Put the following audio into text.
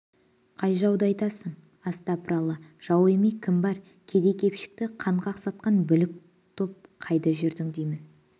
қай жауды айтасың астапыралла жау емей кім бар кедей-кепшікті қан қақсатқан бүлік топ қайда жүрдің деймін